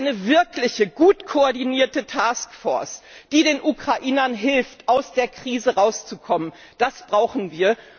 Eine wirkliche, gut koordinierte Taskforce, die den Ukrainern hilft, aus der Krise rauszukommen das brauchen wir!